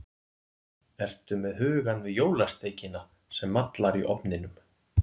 Ertu með hugann við jólasteikina sem mallar í ofninum?